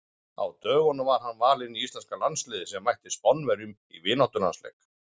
Á dögunum var hann valinn í íslenska landsliðið sem mætti Spánverjum í vináttulandsleik.